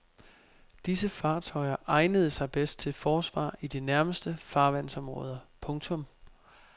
Disse fartøjer egnede sig bedst til forsvar i de nærmeste farvandsområder. punktum